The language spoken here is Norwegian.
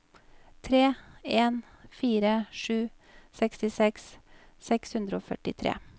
tre en fire sju sekstiseks seks hundre og førtitre